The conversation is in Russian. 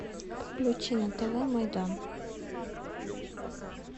включи на тв майдан